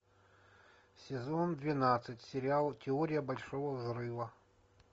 сезон двенадцать сериал теория большого взрыва